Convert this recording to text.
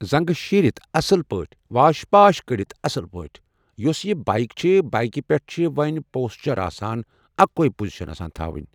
زنٛگہٕ شیٖرِتھ اَصٕل پٲٹھۍ واش پاش کٔرِتھ اَصٕل پٲٹھۍ ۔ یُس یہِ بایک چھِ بایکہِ پٮ۪ٹھ چھِ ؤنۍ پوسچَر آسان اَکٕے پُزِشَن آسان تھَوٕنۍ